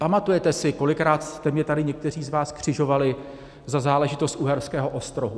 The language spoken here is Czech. Pamatujete si, kolikrát jste mě tady někteří z vás křižovali za záležitost Uherského Ostrohu?